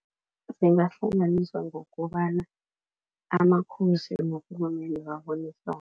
Zingahlanganiswa ngokobana amakhosi norhulumende babonisane.